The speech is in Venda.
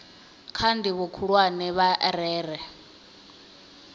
kha ndivho khulwane vha rere